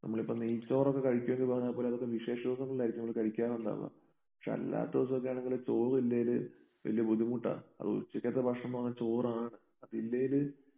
നമ്മളിപ്പം നെയ്ച്ചോറൊക്കെ കഴിക്കും എന്ന് പറഞ്ഞാൽ പോലും അതൊക്കെ വിശേഷദിവസങ്ങളിൽ ആയിരിക്കും നമ്മള് കഴിക്കാറുണ്ടാവുക. പക്ഷേ അല്ലാത്ത ദിവസം ഒക്കെയാണെങ്കില് ചോറ് ഇല്ലേല് വല്യ ബുദ്ധിമുട്ടാ അതും ഉച്ചയ്ക്കത്തെ ഭക്ഷണം എന്ന് പറഞ്ഞാൽ ചോറാണ് അതില്ലേല്